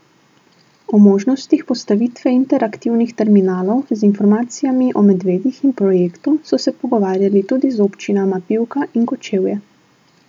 O možnostih postavitve interaktivnih terminalov z informacijami o medvedih in projektu so se pogovarjali tudi z občinama Pivka in Kočevje.